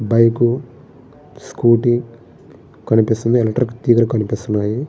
Bike scooty కనిపిస్తుంది. Electric తీగల కనిపిస్తున్నాయి.